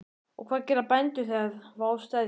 Og hvað gera bændur þegar vá steðjar að?